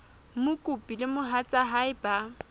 mokopi le mohatsa hae ba